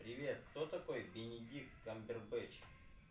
привет кто такой бенедикт камбербэтч